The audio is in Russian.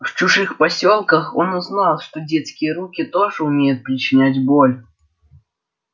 в чужих посёлках он узнал что детские руки тоже умеют причинять боль